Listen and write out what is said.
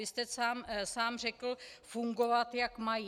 Vy jste sám řekl - fungovat, jak mají.